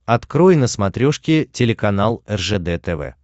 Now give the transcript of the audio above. открой на смотрешке телеканал ржд тв